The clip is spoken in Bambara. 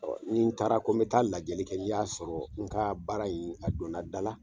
Nin taara ko n bɛ taa lajali kɛ ni n y'a sɔrɔ n ka baara in , a donna dal a